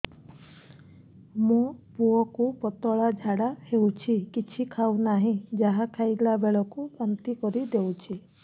ମୋ ପୁଅ କୁ ପତଳା ଝାଡ଼ା ହେଉଛି କିଛି ଖାଉ ନାହିଁ ଯାହା ଖାଇଲାବେଳକୁ ବାନ୍ତି କରି ଦେଉଛି